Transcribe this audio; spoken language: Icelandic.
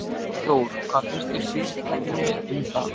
Þór: Hvað finnst fyrirtækinu um það?